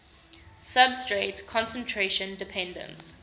substrate concentration dependence